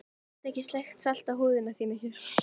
Ég get ekki sleikt salta húð þína hér.